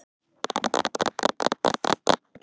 Minn kæri Reynir.